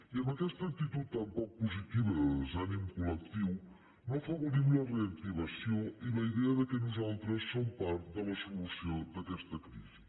i amb aquesta actitud tan poc positiva de desànim col·lectiu no afavorim la reactivació ni la idea que nosaltres som part de la solució d’aquesta crisi